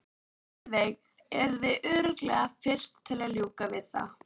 Heiðveig yrði örugglega fyrst til að ljúka við það.